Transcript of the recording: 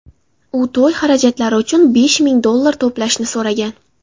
U to‘y xarajatlari uchun besh ming dollar to‘plashni so‘ragan.